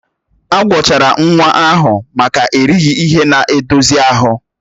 Agwọchara nwa ahụ maka erighị ihe na-edozi ahụ